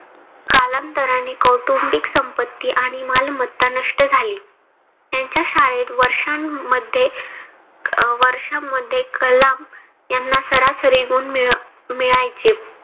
कालांतराने कौटुंबिक संपत्ती आणि मालमत्ता नष्ट झाली. यांच्या शाळेत वर्षान मध्ये अह वर्षामध्ये कलाम यांना सरासरी गुण मिळ मिळायचे.